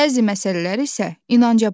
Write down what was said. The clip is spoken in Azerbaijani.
Bəzi məsələlər isə inanca bağlıdır.